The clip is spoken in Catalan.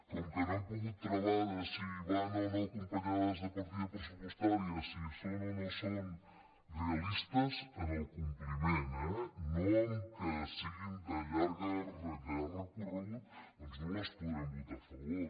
com que no hem pogut travar si van o no acompanyades de partida pressupostària si són o no són realistes en el compli·ment eh no en el fet que siguin de llarg recorregut doncs no hi podrem votar a favor